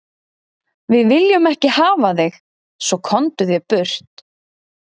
Við viljum ekki hafa þig svo, komdu þér burt.